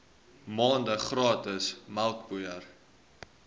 maande gratis melkpoeier